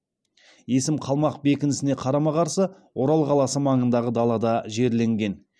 есім қалмақ бекінісіне қарама қарсы орал қаласы маңындағы далада жерленген